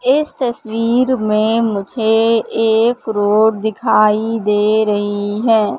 इस तस्वीर में मुझे एक रोड़ दिखाई दे रही है।